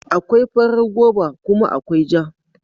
Akwai farar goba kuma akwai ja.